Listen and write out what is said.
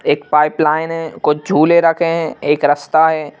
एक पाइपलाइन है कुछ झूले रखे हैं एक रास्ता है।